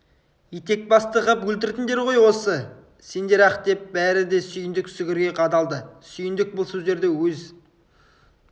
етекбасты қып өлтірдіңдер ғой осы сендер-ақ деп бәрі де сүйіндік сүгірге қадалды сүйіндік бұл сөздерді өз